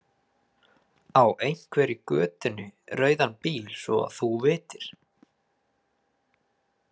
Á einhver í götunni rauðan bíl svo að þú vitir?